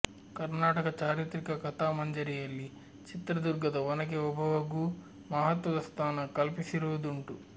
ಕರ್ನಾಟಕ ಚಾರಿತ್ರಿಕ ಕಥಾಮಂಜರಿಯಲ್ಲಿ ಚಿತ್ರದುರ್ಗದ ಒನಕೆ ಓಬವ್ವಗೂ ಮಹತ್ವದ ಸ್ಥಾನ ಕಲ್ಪಿಸಿರುವುದುಂಟು